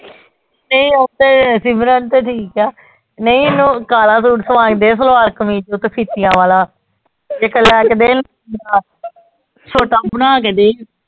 ਤੇ ਓਦਰ ਸਿਮਰਨ ਤੇ ਠੀਕ ਆ ਨਈ ਇਹਨੂੰ ਕਾਲਾ ਸੂਟ ਸਵਾ ਕੇ ਦੇ ਸਲਵਾਰ ਕਮੀਜ਼ ਦੇ ਉੱਤੇ ਫੀਤੀਆਂ ਵਾਲਾ ਇਕ ਲਿਆ ਕੇ ਦੇਣ ਬਣਾ ਕੇ ਦੇ